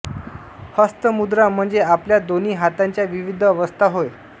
हस्त मुद्रा म्हणजे आपल्या दोन्ही हातांच्या विविध अवस्था होय